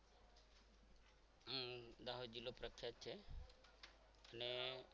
દાહોદ જિલ્લો પ્રખ્યાત છે અને